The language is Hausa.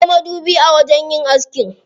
Akwai madubi a wajen yin aski.